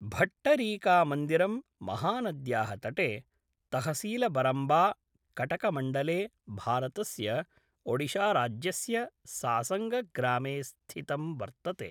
भट्टरीकामन्दिरं महानद्याः तटे, तहसीलबरम्बा, कटकमण्डले, भारतस्य ओडिशाराज्यस्य सासङ्गग्रामे स्थितं वर्तते।